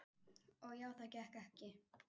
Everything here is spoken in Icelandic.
Og já, það gekk ekki.